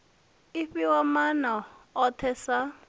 i fhiwa maana ohe sa